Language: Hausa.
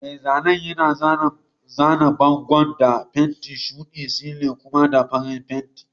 Mai zanen yana zana bangon da fenti shuɗi, silin kuma da farin fenti.